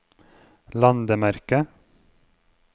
landemerke